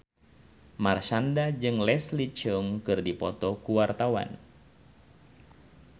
Marshanda jeung Leslie Cheung keur dipoto ku wartawan